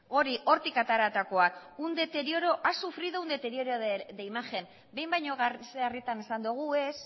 hortik ateratakoak ha sufrido un deterioro de imagen behin baino sarritan esan dugu ez